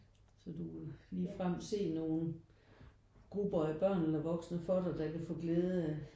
Så du ligefrem se nogen grupper af børn eller voksne for dig der kan få glæde